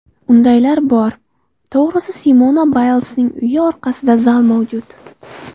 Undaylar bor, to‘g‘risi, Simona Baylsning uyi orqasida zal mavjud.